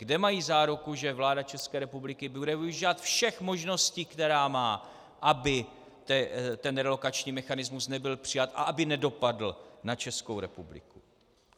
Kde mají záruku, že vláda České republiky bude využívat všech možností, které má, aby ten relokační mechanismus nebyl přijat a aby nedopadl na Českou republiku?